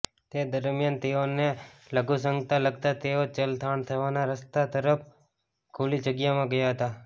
તે દરમ્યાન તેઓને લઘુશંકા લાગતાં તેઓ ચલથાણ જવાના રસ્તા તરફ ખુલ્લી જગ્યામાં ગયા હતા